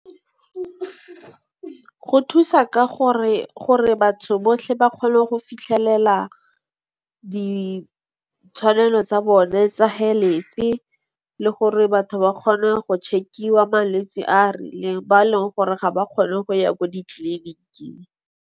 Go thusa ka gore, gore batho botlhe ba kgone go fitlhelela ditshwanelo tsa bone tsa le gore batho ba kgone go check-iwa malwetsi a a rileng ba e leng gore ga ba kgone go ya ko ditliniking.